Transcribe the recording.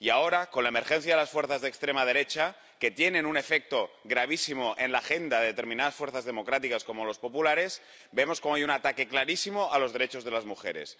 Y ahora, con la emergencia de las fuerzas de extrema derecha, que tienen un efecto gravísimo en la agenda de determinadas fuerzas democráticas como los populares, vemos cómo hay un ataque clarísimo a los derechos de las mujeres.